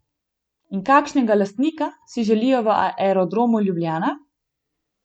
In kakšnega lastnika si želijo v Aerodromu Ljubljana?